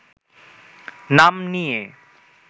নাম নিয়ে